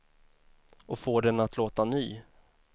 Och får den att låta ny.